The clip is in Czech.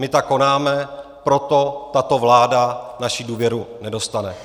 My tak konáme, proto tato vláda naši důvěru nedostane.